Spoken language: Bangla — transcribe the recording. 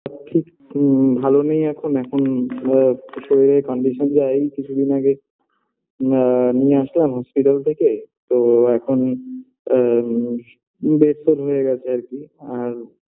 ঠিক ম ভালো নেই এখন এখন আ শরীরের condition যা এই কিছুদিন আগে আ নিয়ে আসলাম hospital থেকে তো এখন আ ম bed soul হয়ে গেছে আর কি আর